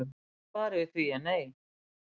Svarið við því er nei